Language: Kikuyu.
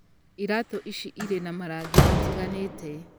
Iratũ ici Irĩ na marangi matiganĩte.